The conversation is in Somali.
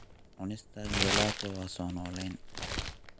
Cunista gelato waa soo noolayn.